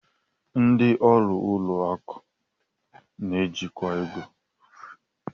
Ndị ọrụ ụlọ akụ na-ejikwa ego